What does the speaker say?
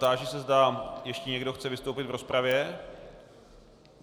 Táži se, zda ještě někdo chce vystoupit v rozpravě.